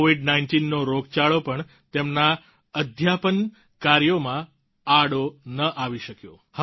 કોવિડ19નો રોગચાળો પણ તેમના અધ્યાપન કાર્યામાં આડો ન આવી શક્યો